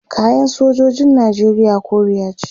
kayan sojojin nijeriya koriya ce